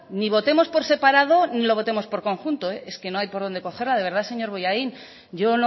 ni votemos por separado ni lo votemos por conjunto es que no hay por dónde cogerla de verdad señor bollain yo